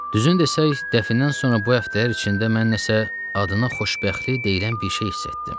Düzünü desək, dəfnindən sonra bu həftələr içində mən nəsə adından xoşbəxtlik deyilən bir şey hiss etdim.